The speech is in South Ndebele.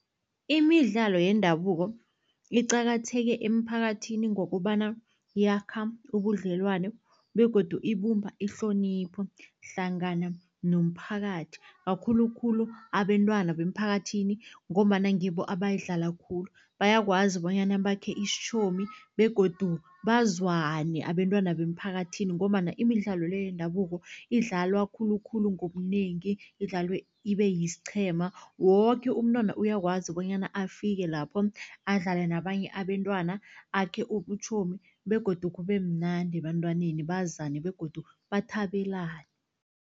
Imidlalo yendabuko iqakatheke emphakathini, ngokobana yakha ubudlelwano begodu ibumba ihlonipho hlangana nomphakathi kakhulukhulu abentwana bemphakathini, ngombana ngibo abayidlala khulu. Bayakwazi bonyana bakhe isitjhomi begodu bazwane abentwana bemphakathini, ngombana imidlalo le yendabuko idlalwa khulukhulu ngobunengi, idlalwe ibe siqhema. Woke umntwana uyakwazi bonyana afike lapho adlale nabanye abentwana, akhe ubutjhomi begodu kube mnandi ebantwaneni bazane begodu bathabelane.